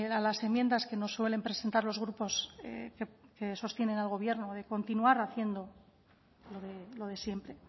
a las enmiendas que nos suelen presentar los grupos que sostienen al gobierno de continuar haciendo lo de siempre